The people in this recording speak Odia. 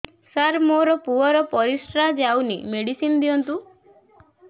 ସାର ମୋର ପୁଅର ପରିସ୍ରା ଯାଉନି ମେଡିସିନ ଦିଅନ୍ତୁ